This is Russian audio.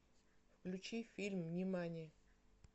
включи фильм нимани